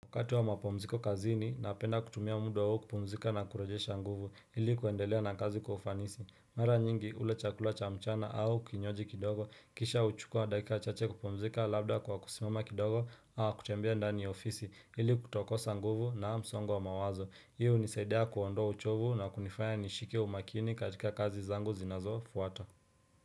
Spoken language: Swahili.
Wakati wa mapumziko kazini napenda kutumia muda huo kupumzika na kurejesha nguvu ili kuendelea na kazi kwa ufanisi mara nyingi ule chakula cha mchana au kinywaji kidogo kisha uchukua dakika chache kupumzika labda kwa kusimama kindogo au kutembea ndani ya ofisi ili kutokosa nguvu na msongo wa mawazo hiyo hunisaidia kuondoa uchovu na kunifanya nishike umakini katika kazi zangu zinazofuata.